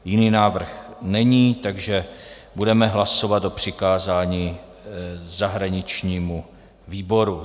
Jiný návrh není, takže budeme hlasovat o přikázání zahraničnímu výboru.